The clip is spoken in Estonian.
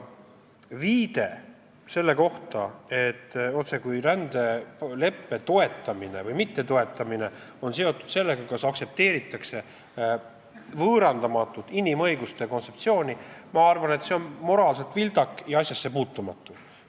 Viide, otsekui rändeleppe toetamine või mittetoetamine oleks seotud sellega, kas aktsepteeritakse võõrandamatut inimõiguste kontseptsiooni, ma arvan, on moraalselt vildak ja asjasse puutumatu.